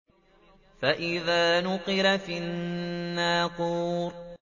فَإِذَا نُقِرَ فِي النَّاقُورِ